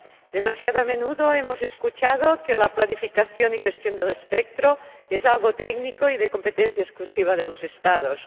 Demasiado a menudo hemos escuchado que la planificación y gestión del espectro es algo técnico y de competencia exclusiva de los Estados.